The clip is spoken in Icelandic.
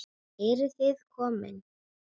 Eruð þið komin!